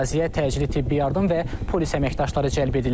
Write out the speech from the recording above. Əraziyə təcili tibbi yardım və polis əməkdaşları cəlb edilib.